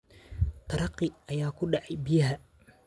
Taraqii ayaa ku dhacay biyaa.